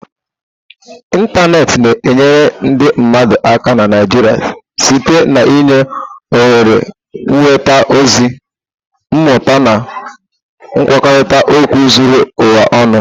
Ịntanetị na-enyere ndị mmadụ aka na Naijiia site n'inye ohere ịnweta ozi, mmụta na nkwurịta okwu zuru ụwa ọnụ.